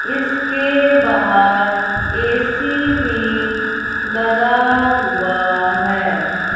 इसके बाहर ए_सी भी लगा हुआ है।